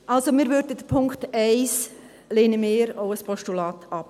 Also: Den Punkt 1 lehnen wir auch als Postulat ab.